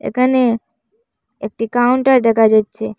এখানে একটি কাউন্টার দেখা যাচ্ছে।